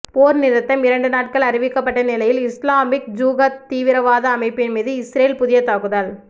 போர் நிறுத்தம் இரண்டு நாட்கள் அறிவிக்கப்பட்ட நிலையில் இஸ்லாமிக் ஜிகாத் தீவிரவாத அமைப்பின் மீது இஸ்ரேல் புதிய தாக்குதல்